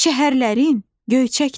şəhərlərin göyçəkdir.